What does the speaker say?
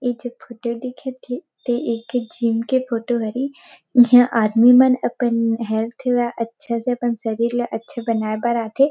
ये जो फोटो दिखत हे ते एक जीम के फोटो हरे इहा आदमी मन अपन हेल्थ ल अच्छा से शरीर ल अच्छा बनाए बर आथे ।